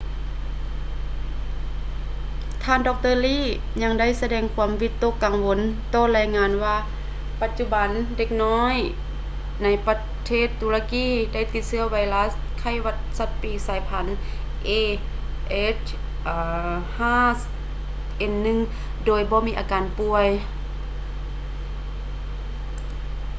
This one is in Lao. ທ່ານ ດຣ. lee ຍັງໄດ້ສະແດງຄວາມວິຕົກກັງວົນຕໍ່ລາຍງານວ່າປັດຈຸບັນເດັກນ້ອຍໃນປະເທດຕຸລະກີ ໄດ້ຕິດເຊື້ອໄວຣັດໄຂ້ຫວັດສັດປີກສາຍພັນ a h5n1 ໂດຍບໍ່ມີອາການປ່ວຍ